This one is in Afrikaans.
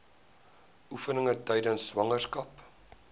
oefeninge tydens swangerskap